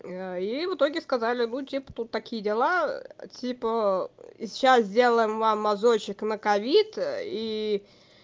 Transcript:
а и в итоге сказали ну типа тут такие дела типа сейчас сделаем вам мазочек на ковид ии